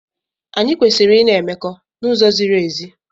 Anyị kwesịrị ị na-emekọ n'uzo ziri ezi.